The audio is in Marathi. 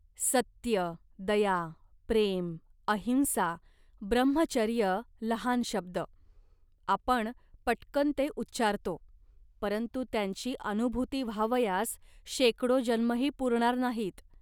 सत्य, दया, प्रेम अहिंसा, ब्रम्हचर्यलहान शब्द. आपण पटकन ते उच्चारतो, परंतु त्यांची अनुभूती व्हावयास शेकडो जन्मही पुरणार नाहीत